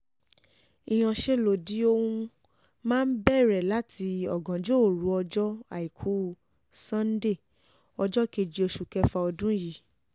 ìyanṣẹ́lódì ọ̀hún máa bẹ̀rẹ̀ láti ọ̀gànjọ́ òru ọjọ́ àìkú sannde ọjọ́ kejì oṣù kẹfà ọdún yìí